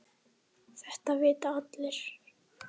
Þetta vita allir.